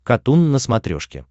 катун на смотрешке